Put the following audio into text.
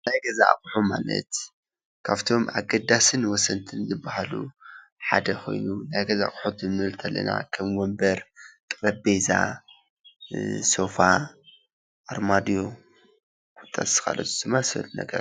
ናይ ገዛ ኣቑሑት ማለት ካብቶም ኣገደስን ወሰንትን ዝበሃሉ ሓደ ኮይኑ ናይ ገዛ ኣቑሑት ክንብል እንተለና ከም ወንበር ፣ጠረጰዛ፣ ሶፋ ፣ኣርማድዮ ካሎኦት ዝመሳሰሉ ነገራት።